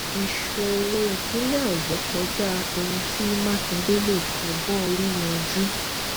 ìṣòro ìpínlẹ ọyọ kọjá ohun tí mákindé lè fọgbọn orí yanjú